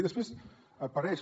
i després apareix